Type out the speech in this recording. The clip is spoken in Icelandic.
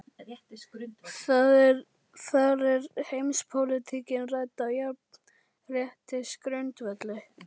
Þar er heimspólitíkin rædd á jafnréttisgrundvelli.